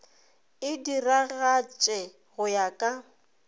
e diragatše go ya ka